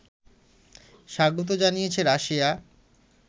স্বাগত জানিয়েছে রাশিয়া